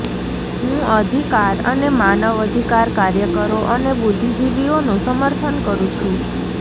હું અધિકાર અને માનવ અધિકાર કાર્યકરો અને બુદ્ધિજીવિઓનું સમર્થન કરૂ છું